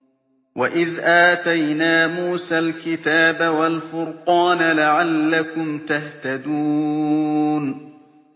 وَإِذْ آتَيْنَا مُوسَى الْكِتَابَ وَالْفُرْقَانَ لَعَلَّكُمْ تَهْتَدُونَ